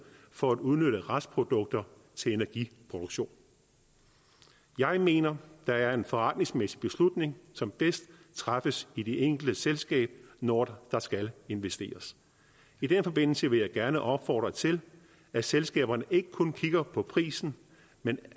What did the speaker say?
for at udnytte restprodukter til energiproduktion jeg mener der er en forretningsmæssig beslutning som bedst træffes i det enkelte selskab når der skal investeres i den forbindelse vil jeg gerne opfordre til at selskaberne ikke kun kigger på prisen men